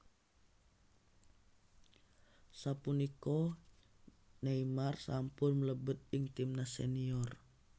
Sapunika Neymar sampun mlebet ing timnas senior